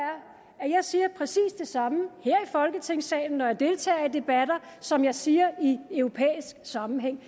at jeg siger præcis det samme her i folketingssalen når jeg deltager i debatter som jeg siger i europæisk sammenhæng